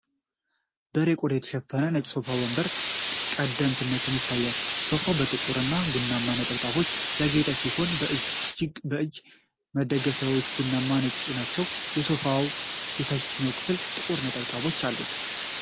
በሬ ቆዳ የተሸፈነ ነጭ ሶፋ በግንባር ቀደምትነት ይታያል። ሶፋው በጥቁር እና ቡናማ ነጠብጣቦች ያጌጠ ሲሆን፣ የእጅ መደገፊያዎቹ ቡናማና ነጭ ናቸው። የሶፋው ታችኛው ክፍል ጥቁር ነጠብጣቦች አሉት።